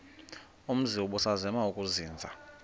umzi ubusazema ukuzinza